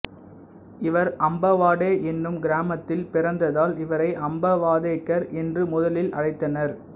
இவர் அம்பவாடே என்னும் கிராமத்தில் பிறந்ததால் இவரை அம்பவாதேகர் என்று முதலில் அழைத்தனர்